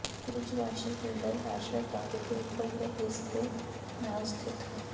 ਕੁਝ washer filter washer tub ਦੇ ਉੱਪਰਲੇ ਰਿਮ ਦੇ ਨਾਲ ਸਥਿਤ ਹਨ